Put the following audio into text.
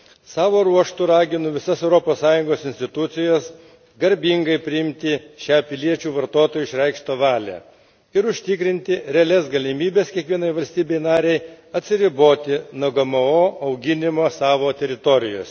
Savo ruožtu raginu visas Europos Sąjungos institucijas garbingai priimti šią piliečių vartotojų išreikštą valią ir užtikrinti realias galimybes kiekvienai valstybei narei atsiriboti nuo GMO auginimo savo teritorijose.